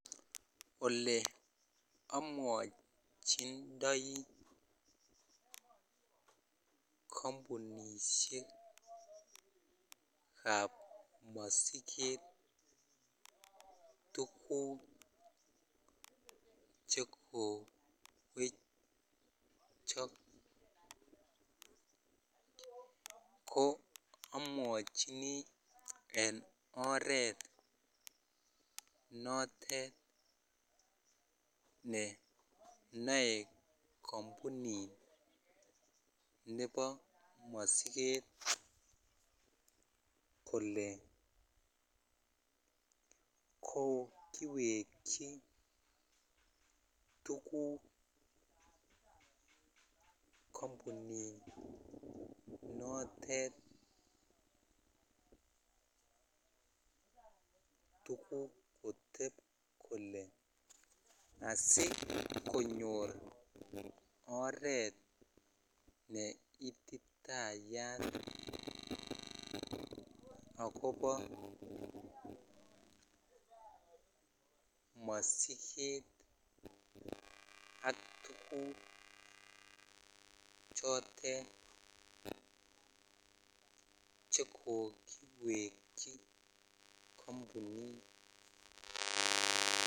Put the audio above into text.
Ole amwochindoi kampunishek ab mosiget tuguk chekowechok ko amwochini en oret notet ne noe kampunit nebo mosiget kole kokiwechi tuguk kampuninotet tuguk kitep kole asikonyor ort ne ititayat akobo mosiget ak tukuk chotet chekokiwechi kampunit.